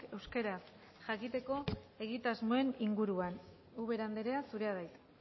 euskaraz jakiteko egitasmoen inguruan ubera andrea zurea da hitza